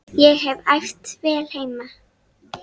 Ég hef æft vel heima.